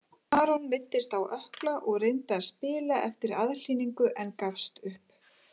Aron meiddist á ökkla og reyndi að spila eftir aðhlynningu en gafst upp.